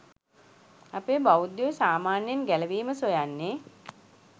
අපේ බෞද්ධයෝ සාමාන්‍යයෙන් ගැලවීම සොයන්නේ